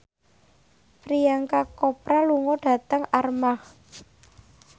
Priyanka Chopra lunga dhateng Armargh